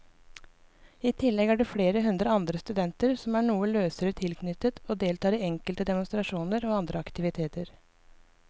I tillegg er det flere hundre andre studenter som er noe løsere tilknyttet og deltar i enkelte demonstrasjoner eller andre aktiviteter.